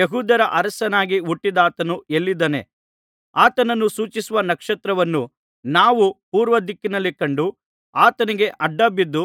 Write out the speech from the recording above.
ಯೆಹೂದ್ಯರ ಅರಸನಾಗಿ ಹುಟ್ಟಿದಾತನು ಎಲ್ಲಿದ್ದಾನೆ ಆತನನ್ನು ಸೂಚಿಸುವ ನಕ್ಷತ್ರವನ್ನು ನಾವು ಪೂರ್ವದಿಕ್ಕಿನಲ್ಲಿ ಕಂಡು ಆತನಿಗೆ ಅಡ್ಡಬಿದ್ದು